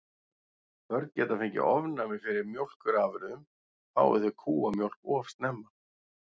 Börn geta fengið ofnæmi fyrir mjólkurafurðum fái þau kúamjólk of snemma.